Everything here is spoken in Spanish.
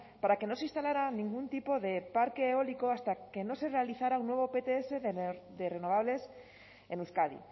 para que no se instalara ningún tipo de parque eólico hasta que no se realizara un nuevo pts de renovables en euskadi